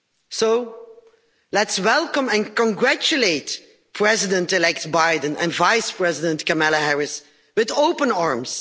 So, let's welcome and congratulate President-elect Joe Biden and Vice-President-elect Kamala Harris with open arms.